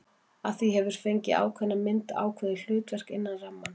Af því það hefur fengið ákveðna mynd, ákveðið hlutverk, innan rammans.